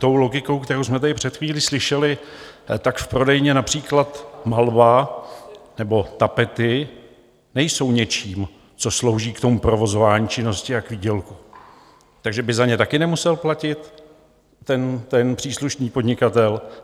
Tou logikou, kterou jsme tady před chvílí slyšeli, tak v prodejně například Malva nebo Tapety nejsou něčím, co slouží k tomu provozování činnosti a k výdělku, takže by za ně také nemusel platit ten příslušný podnikatel?